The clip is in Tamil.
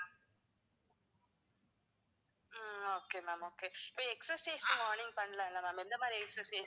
ஆஹ் okay ma'am, okay இப்ப exercise morning பண்ணலாம்ல ma'am எந்தமாதிரி exercise